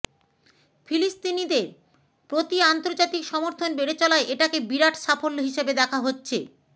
ফিলিস্তিনিদের প্রতি আন্তর্জাতিক সমর্থন বেড়ে চলায় এটাকে বিরাট সাফল্য হিসেবে দেখা হচ্ছে